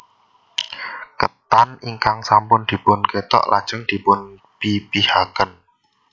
Ketan ingkang sampun dipun kethok lajeng dipun pipihaken